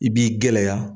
I b'i gɛlɛya